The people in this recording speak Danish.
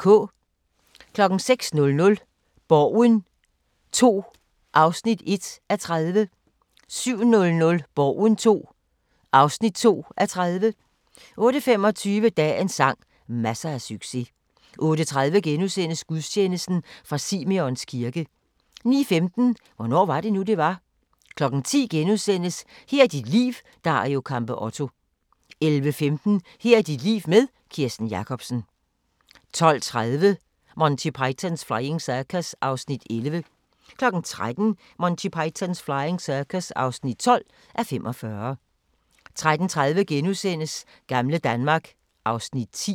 06:00: Borgen II (1:30) 07:00: Borgen II (2:30) 08:25: Dagens sang: Masser af succes 08:30: Gudstjeneste fra Simeons kirke * 09:15: Hvornår var det nu, det var? 10:00: Her er dit liv – Dario Campeotto * 11:15: Her er dit liv med Kirsten Jakobsen 12:30: Monty Python's Flying Circus (11:45) 13:00: Monty Python's Flying Circus (12:45) 13:30: Gamle Danmark (Afs. 10)*